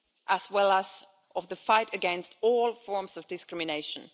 as well as of the fight against all forms of discrimination.